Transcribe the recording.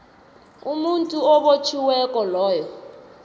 umuntu obotjhiweko loyo